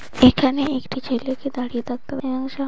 এখানে একটি ছেলেকে দাঁড়িয়ে থাকতে --